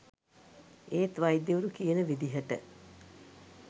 ඒත් වෛද්‍යවරු කියන විදිහට